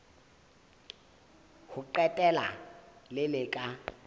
ho qetela le le ka